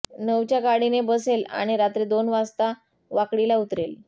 नऊच्या गाडीने बसेल आणि रात्री दोन वाजता वाकडी ला उतरेल